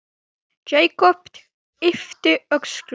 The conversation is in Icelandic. Jakob yppti öxlum.